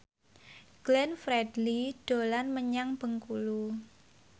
Glenn Fredly dolan menyang Bengkulu